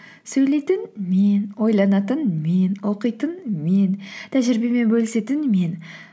сөйлейтін мен ойланатын мен оқитын мен тәжірибемен бөлісетін мен